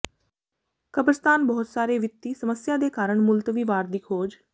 ਕਬਰਸਤਾਨ ਬਹੁਤ ਸਾਰੇ ਵਿੱਤੀ ਸਮੱਸਿਆ ਦੇ ਕਾਰਨ ਮੁਲਤਵੀ ਵਾਰ ਦੀ ਖੋਜ